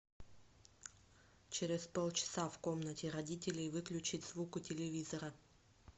через полчаса в комнате родителей выключить звук у телевизора